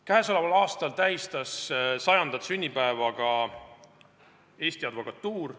Käesoleval aastal tähistas 100. sünnipäeva ka Eesti Advokatuur.